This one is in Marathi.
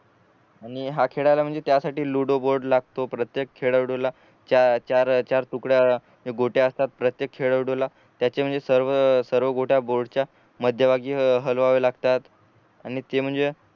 आणि हा खेळाला म्हणजे त्यासाठी लुडो बोर्ड लागतो प्रत्येक खेळाडूला चार चार तुकड्या बोट्या असतात प्रत्येक खेळाडूला त्याची म्हणजे सर्व सर्व गोट्या बोर्डच्या मध्यभागी हलवावे लागतात आणि ते म्हणजे